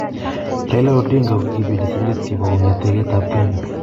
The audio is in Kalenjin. Raila Odinga ko kibendi sigilet kibo ng�ete ketap Kenya.